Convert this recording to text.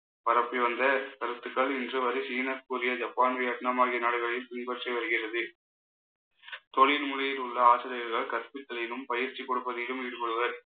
பரப்பி வந்த கருத்துக்கள் இன்று வரை சீன இப்போதைய ஜப்பான் வியட்நாம் ஆகிய நாடுகளில் பின்பற்றி வருகிறது தொழில் முறையில் உள்ள ஆசிரியர்கள் கற்பித்தலிலும் பயிற்சி கொடுப்பதிலும் ஈடுபடுவர்